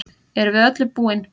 Erum við öllu búin